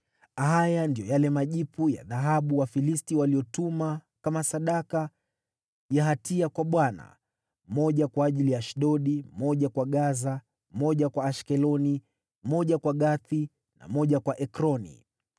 Haya ndiyo yale majipu ya dhahabu Wafilisti waliyotuma kama sadaka ya hatia kwa Bwana , moja kwa ajili ya Ashdodi, moja kwa Gaza, moja kwa Ashkeloni, moja kwa Gathi, na moja kwa Ekroni.